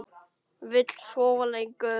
Vill sofa lengur.